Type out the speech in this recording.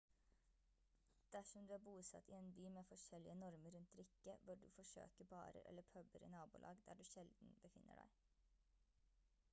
dersom du er bosatt i en by med forskjellige normer rundt drikke bør du forsøke barer eller puber i nabolag der du sjelden befinner deg